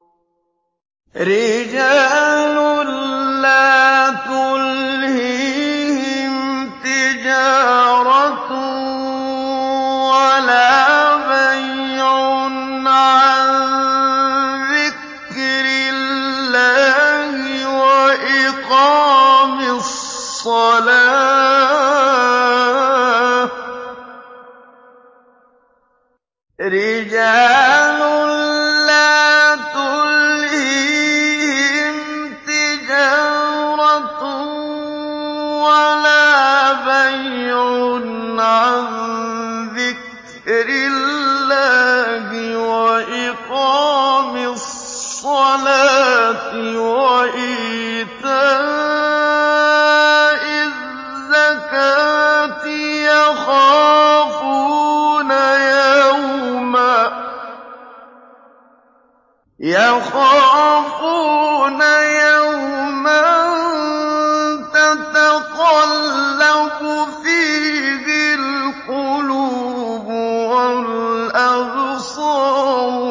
رِجَالٌ لَّا تُلْهِيهِمْ تِجَارَةٌ وَلَا بَيْعٌ عَن ذِكْرِ اللَّهِ وَإِقَامِ الصَّلَاةِ وَإِيتَاءِ الزَّكَاةِ ۙ يَخَافُونَ يَوْمًا تَتَقَلَّبُ فِيهِ الْقُلُوبُ وَالْأَبْصَارُ